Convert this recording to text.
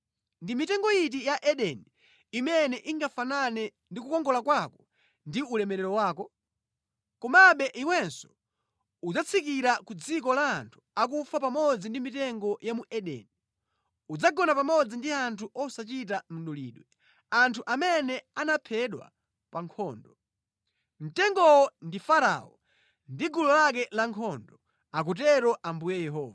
“ ‘Ndi mitengo iti ya mu Edeni imene ingafanane ndi kukongola kwako ndi ulemerero wako? Komabe iwenso, udzatsikira ku dziko la anthu akufa pamodzi ndi mitengo ya mu Edeni. Udzagona pamodzi ndi anthu osachita mdulidwe, anthu amene anaphedwa pa nkhondo. “ ‘Mtengowo ndi Farao ndi gulu lake lankhondo, akutero Ambuye Yehova.’ ”